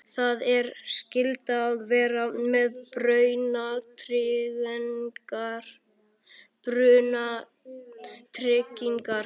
Það er skylda að vera með brunatryggingar.